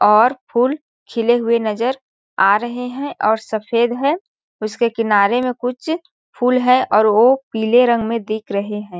और फूल खिले हुए नज़र आ रहे है और सफ़ेद है उसके किनारे मे कुछ फूल है और वो पीले रंग में दिख रहे है।